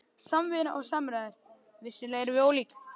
SAMVINNA OG SAMRÆÐUR- vissulega erum við ólík.